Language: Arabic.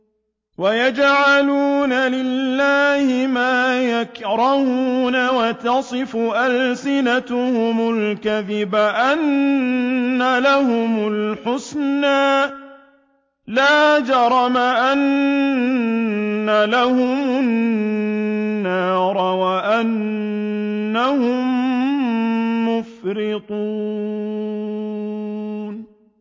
وَيَجْعَلُونَ لِلَّهِ مَا يَكْرَهُونَ وَتَصِفُ أَلْسِنَتُهُمُ الْكَذِبَ أَنَّ لَهُمُ الْحُسْنَىٰ ۖ لَا جَرَمَ أَنَّ لَهُمُ النَّارَ وَأَنَّهُم مُّفْرَطُونَ